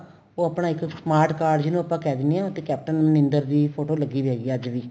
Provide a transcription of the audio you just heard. ਉਹ ਆਪਣਾ ਇੱਕ smart card ਜਿੰਨੂ ਆਪਾਂ ਕਹਿ ਦਿਨੇ ਆ ਤੇ ਕੈਪਟਨ ਅਮਰਿੰਦਰ ਦੀ photo ਲਗੀ ਵੀ ਹੈਗੀ ਅੱਜ ਵੀ